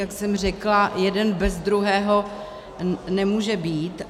Jak jsem řekla, jeden bez druhého nemůže být.